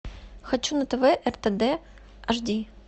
хочу на тв ртд аш ди